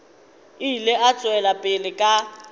ile a tšwela pele ka